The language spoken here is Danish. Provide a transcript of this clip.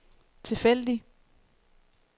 tilfældig